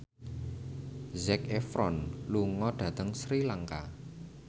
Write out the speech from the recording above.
Zac Efron lunga dhateng Sri Lanka